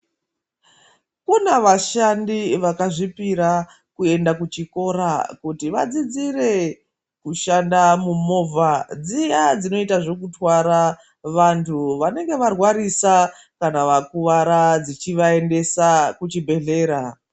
Kune vashandi vakazvipira kuenda kuchikora kuti vadzidzire kushanda mumovha dziya dzinotwara vantu vanenge varwarisa kana vakuwara dzichivaendesa kuchibhedhleya.